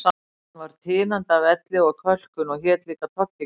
Hann var tinandi af elli og kölkun og hét líka Toggi, Gamli